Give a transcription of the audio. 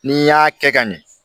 N'i y'a kɛ ka ɲɛ